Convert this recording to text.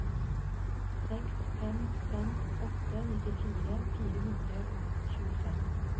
seks fem fem åtte nittifire fire hundre og tjuefem